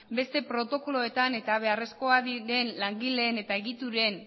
beste protokoloetan eta beharrezkoak diren langileen eta egituren